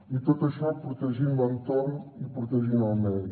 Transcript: i tot això protegint l’entorn i protegint el medi